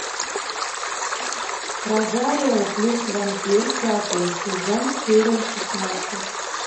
розарио плюс вампир пятый сезон серия шестнадцать